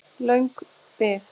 Löng bið